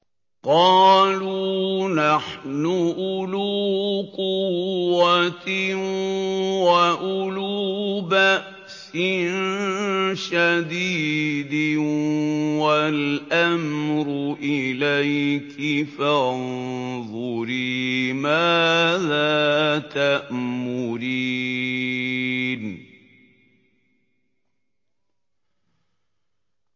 قَالُوا نَحْنُ أُولُو قُوَّةٍ وَأُولُو بَأْسٍ شَدِيدٍ وَالْأَمْرُ إِلَيْكِ فَانظُرِي مَاذَا تَأْمُرِينَ